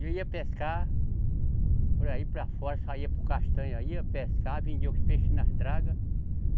E eu ia pescar por aí para fora, saía para o Castanha, ia pescar, vendia os peixes nas dragas.